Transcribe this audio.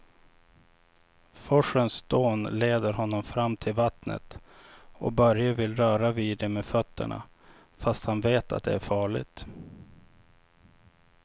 Forsens dån leder honom fram till vattnet och Börje vill röra vid det med fötterna, fast han vet att det är farligt.